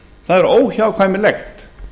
það er óhjákvæmilegt